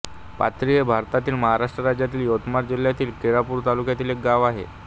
पाथरी हे भारतातील महाराष्ट्र राज्यातील यवतमाळ जिल्ह्यातील केळापूर तालुक्यातील एक गाव आहे